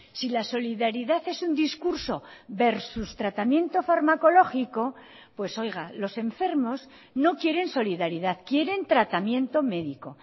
si la solidaridad es un discurso versus tratamiento farmacológico pues oiga los enfermos no quieren solidaridad quieren tratamiento médico